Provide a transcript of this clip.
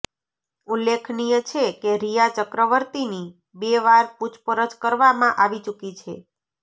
ઉલ્લેખનીય છે કે રિયા ચક્રવર્તીની બે વાર પૂછપરછ કરવામાં આવી ચૂકી છે